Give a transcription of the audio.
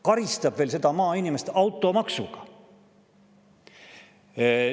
Karistab veel seda maainimest automaksuga!